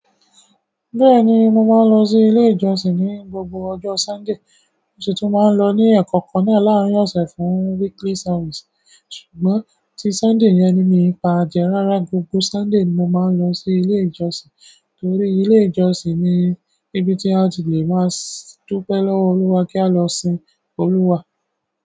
Bẹ́ẹ̀ni, mo máa ń lọ sí ilé ìjọsìn ní gbogbo ọjọ́ Sunday. Mo sì tù máa ń lọ ní ẹ̀kọ́ kan na làarín ọ̀sẹ̀ fún weekly service. Ṣùgbọ́n tí Sunday yẹn ni might kí paaje rárá, gbogbo ọjọ́ Sunday ni mo máa ń lọ sí ilé ìjọsìn nítorí ilé ìjọsìn ni ibi tí a ti lè máa dúpẹ́ lọ́wọ́ Olúwa kí a lọ sin Olúwa.